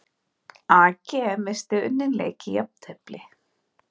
AG missti unninn leik í jafntefli